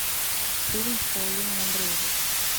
фильм с паулиной андреевой